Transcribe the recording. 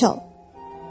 Əl çal!